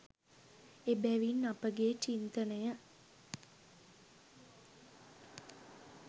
එබැවින් අපගේ චින්තනය